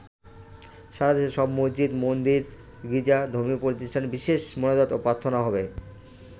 সারাদেশে সব মসজিদ, মন্দির, গির্জা ও ধর্মীয় প্রতিষ্ঠানে বিশেষ মোনাজাত ও প্রার্থনা হবে।